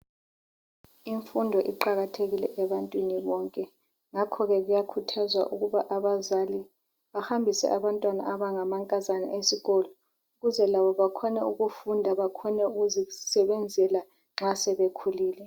Imfundo iqakathekile ebantwini bonke. Ngakho ke, kuyakhuthazwa ukuba abazali bahambise abantwana abangamankazana esikolo, ukuze labo bakhone ukufunda bakhone ukuzisebenzela nxa sebekhulile.